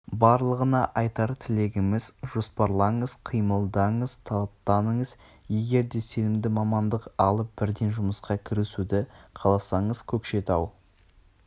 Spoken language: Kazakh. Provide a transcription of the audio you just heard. барлығына айтар тілегіміз жоспарлаңыз қимылдаңыз талаптаныңыз егер де сенімді мамандық алып бірден жұмысқа кірісуді қаласаңыз көкшетау